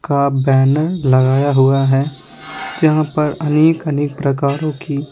का बैनर लगाया हुआ है जहाँ पर अनेक-अनेक प्रकारों की--